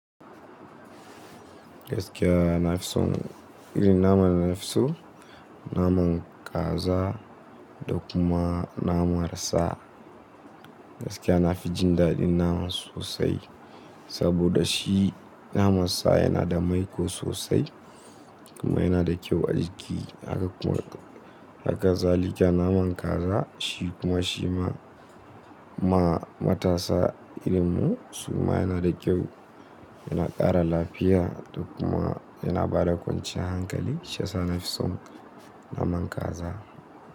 Gaskiya nafi son irin naman nafi so naman kaza da kuma naman sa. Gaskiya nafi jin daɗin naman sosai saboda shi naman sa yana da maiƙo sosai kuma yana da kyau a jiƙi. Haka kuma, haka zalika naman kaza shi kuma shi ma matasa irin mu su kuma yana da kyau, yana ƙara lafiya da kuma yana bada kwanciyar hankali. Shi yasa nafison naman kaza.